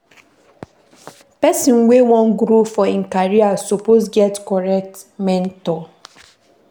Pesin wey wan grow for im career suppose get correct mentor.